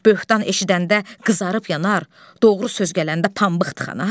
Böhtan eşidəndə qızarıb yanar, doğru söz gələndə pambıq tıxanar?